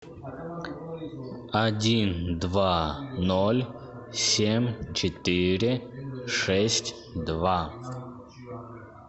один два ноль семь четыре шесть два